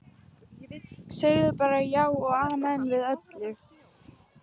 Sagði bara já og amen við öllu.